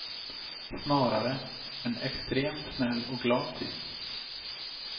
Snarare en extremt snäll och glad typ.